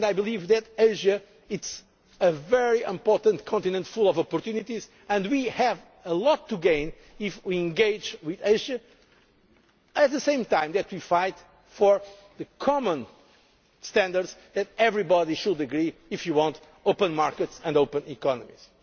Presidency. I believe that Asia is a very important continent full of opportunities. We have a lot to gain if we engage with Asia and, at the same time, fight for the common standards that everyone should agree to if we want open markets and